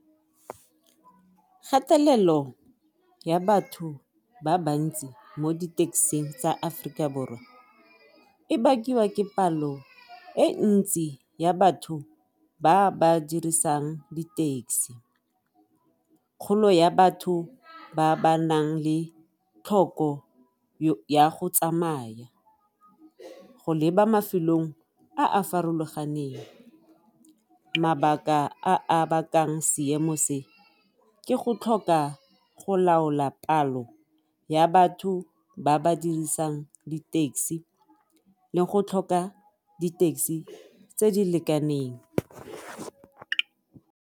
Kgatelelo ya batho ba bantsi mo di-taxi-ing tsa Aforika Borwa e bakiwa ke palo e ntsi ya batho ba ba dirisang di-taxi, kgolo ya batho ba ba nang le tlhoko ya go tsamaya go leba mafelong a a farologaneng, mabaka a bakang seemo se ke go tlhoka go laola palo ya batho ba ba dirisang di-taxi le go tlhoka di-taxi tse di lekaneng.